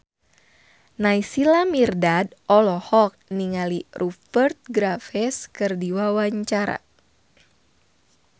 Naysila Mirdad olohok ningali Rupert Graves keur diwawancara